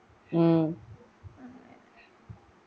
ഉം